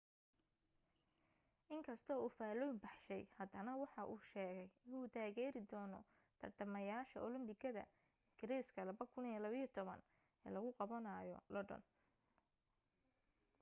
in kastoo uu faalllooyin baxshay haddana waxa uu sheegay inuu taageeri doono tartamayaasha olambikada ingiriiska 2012 ee lagu qabanayo london